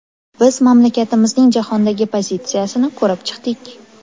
Biz mamlakatimizning jahondagi pozitsiyasini ko‘rib chiqdik.